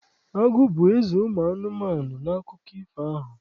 Agụ bụ eze ụmụ anụmanụ n'akụkọ ifo ahụ.